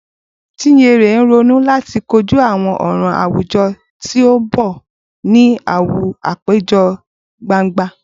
Chinyere n ronu lati koju awọn ọran awujọ ti n bọ ni awọn apejọ gbangba.